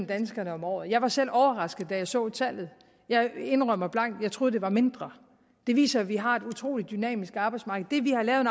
danskerne om året jeg var selv overrasket da jeg så tallet jeg indrømmer blankt at jeg troede det var mindre det viser at vi har et utrolig dynamisk arbejdsmarked det vi har lavet